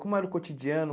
Como era o cotidiano?